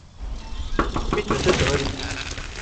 купить принцессу нури